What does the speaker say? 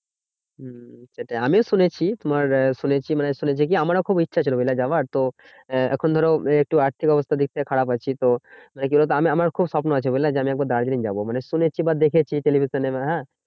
সেটাই আমিও শুনেছি তোমার আহ শুনেছি মানে শুনেছি কি আমারও খুব ইচ্ছা ছিল, বুঝলে যাওয়ার? তো এখন ধরো এ একটু আর্থিক অবস্থার দিক থেকে খারাপ আছি। তো মানে কি বলতো? আমার আমার খুব স্বপ্ন আছে বুঝলে? যে আমি একবার দার্জিলিং যাবো। মানে শুনেছি বা দেখেছি television এ হ্যাঁ